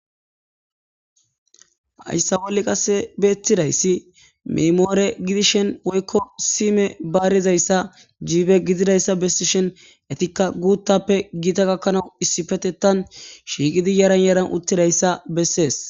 Hayssa wolle qase beethidayssi miimore gidishin woykko sime baarizayssa jiibe gididayssa bessi shen etikka guuttappe giita gakkanaw issipetettan shiiqidi yaran yaran uttidayssa bessees.